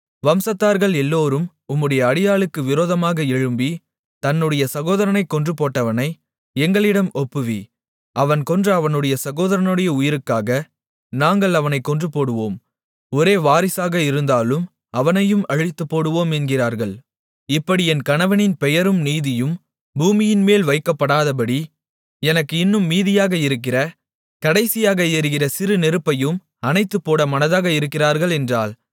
வம்சத்தார்கள் எல்லோரும் உம்முடைய அடியாளுக்கு விரோதமாக எழும்பி தன்னுடைய சகோதரனைக் கொன்று போட்டவனை எங்களிடம் ஒப்புவி அவன் கொன்ற அவனுடைய சகோதரனுடைய உயிருக்காக நாங்கள் அவனைக் கொன்றுபோடுவோம் ஒரே வாரிசாக இருந்தாலும் அவனையும் அழித்துப்போடுவோம் என்கிறார்கள் இப்படி என் கணவனின் பெயரும் நீதியும் பூமியின்மேல் வைக்கப்படாதபடி எனக்கு இன்னும் மீதியாக இருக்கிற கடைசியாக எரிகிற சிறு நெருப்பையும் அணைத்துப்போட மனதாக இருக்கிறார்கள் என்றாள்